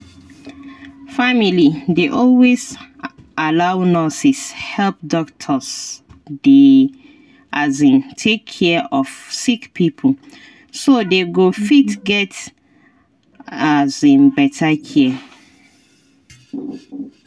family dey always allow nurses help doctors dey um take care of sick pipo so they go fit get um better care.